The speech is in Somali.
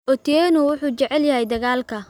Otieno wuxuu jecel yahay dagaalka